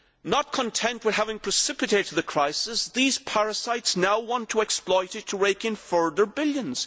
Not content with having precipitated the crisis, these parasites now want to exploit it to rake in further billions.